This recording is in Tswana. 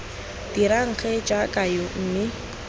dirang gee jaaka yo mme